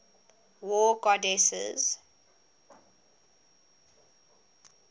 war goddesses